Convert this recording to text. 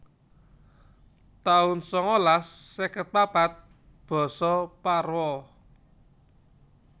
taun sangalas seket papat Basa Parwa